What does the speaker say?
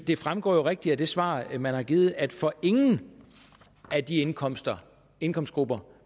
det fremgår jo rigtigt af det svar man har givet at for ingen af de indkomstgrupper indkomstgrupper